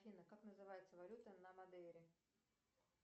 афина как называется валюта на мадейре